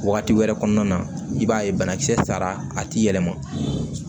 Wagati wɛrɛ kɔnɔna na i b'a ye banakisɛ sara a ti yɛlɛma